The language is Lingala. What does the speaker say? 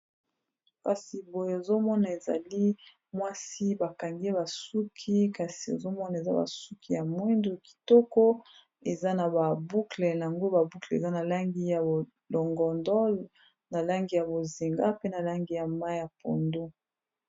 kasi boye ozomona ezali mwasi bakangi basuki kasi ozomona eza basuki ya mwindu kitoko eza na baboukle yango baboukle eza na langi ya longondol na langi ya bozinga pe na langi ya ma ya pondo